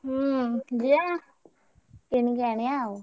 ହୁଁ ଯିବା କିଣିକି ଆଣିବା ଆଉ।